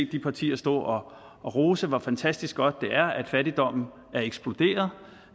de partier stå og rose hvor fantastisk godt det er at fattigdommen er eksploderet